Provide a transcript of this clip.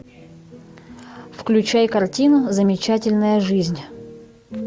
включай картину замечательная жизнь